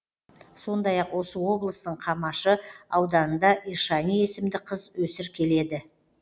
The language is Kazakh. сондай ақ осы облыстың қамашы ауданында ишани есімді қыз өсір келеді